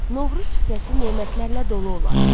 Novruz süfrəsi nemətlərlə dolu olar.